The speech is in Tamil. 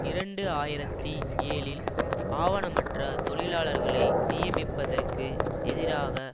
இரண்டு ஆயிரத்தி ஏழில் ஆவணமற்ற தொழிலாளர்களை நியமிப்பதற்கு எதிராக